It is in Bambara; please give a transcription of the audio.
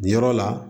Nin yɔrɔ la